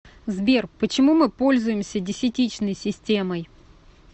сбер почему мы пользуемся десятичной системой